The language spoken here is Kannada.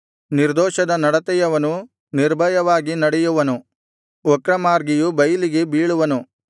ನಿರ್ದೋಷದ ನಡತೆಯವನು ನಿರ್ಭಯವಾಗಿ ನಡೆಯುವನು ವಕ್ರಮಾರ್ಗಿಯು ಬೈಲಿಗೆ ಬೀಳುವನು